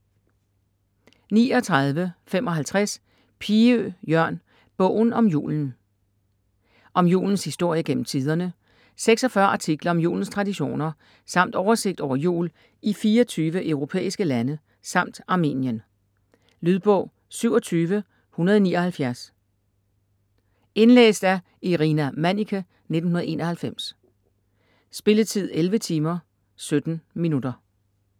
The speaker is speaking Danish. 39.55 Piø, Iørn: Bogen om julen Om julens historie gennem tiderne, 46 artikler om julens traditioner samt oversigt over jul i 24 europæiske lande samt Armenien. Lydbog 27179 Indlæst af Irina Manniche, 1991. Spilletid: 11 timer, 17 minutter.